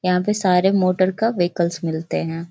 यहाँ पे सारे मोटर का व्हीकल्स मिलते हैं।